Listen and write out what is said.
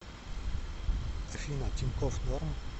афина тинькофф норм